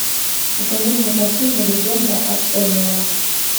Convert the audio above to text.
покажи мне картину легенда об энио